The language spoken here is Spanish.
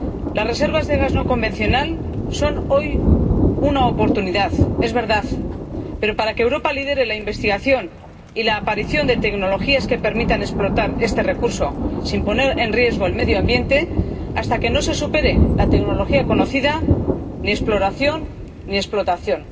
Las reservas de gas no convencional son hoy una oportunidad —es verdad— pero, para que Europa lidere la investigación y la aparición de tecnologías que permitan explotar este recurso sin poner en riesgo el medio ambiente, hasta que no se supere la tecnología conocida ni exploración, ni explotación.